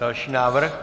Další návrh.